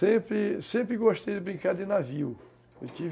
Sempre, sempre gostei de brincar de navio.